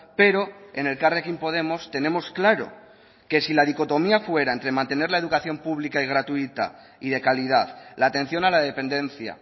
pero en elkarrekin podemos tenemos claro que si la dicotomía fuera entre mantener la educación pública y gratuita y de calidad la atención a la dependencia